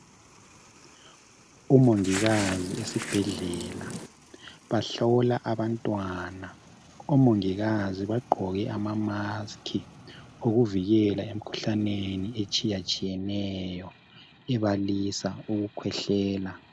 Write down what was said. umongikazi esibhedlela bahlola abantwana omongikazi bagqoke ama mask okuvikela emkhuhlaneni etshiyatshiyeneyo ebalisa ukukhwehlela